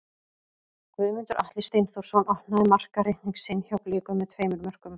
Guðmundur Atli Steinþórsson opnaði markareikning sinn hjá Blikum með tveimur mörkum.